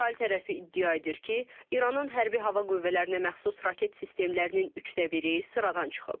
İsrail tərəfi iddia edir ki, İranın Hərbi Hava Qüvvələrinə məxsus raket sistemlərinin üçdə biri sıradan çıxıb.